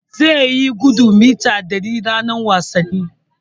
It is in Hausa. Zai yi gudun mita ɗari ranar wasanni.